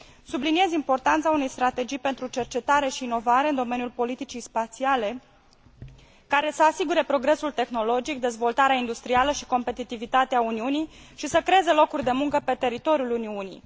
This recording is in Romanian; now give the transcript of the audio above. Subliniez importanța unei strategii pentru cercetare și inovare în domeniul politicii spațiale, care să asigure progresul tehnologic, dezvoltarea industrială și competitivitatea Uniunii și să creeze locuri de muncă pe teritoriul Uniunii.